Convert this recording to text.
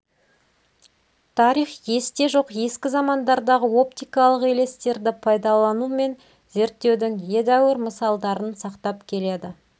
тарих есте жоқ ескі замандардағы оптикалық елестерді пайдалану мен зерттеудің едеуір мысалдарын сақтап келеді